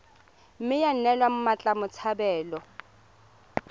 mme ya neelwa mmatla botshabelo